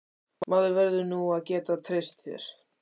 Maður verður nú að geta treyst þér!